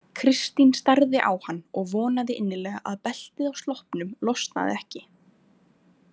Kristín starði á hann og vonaði innilega að beltið á sloppnum losnaði ekki.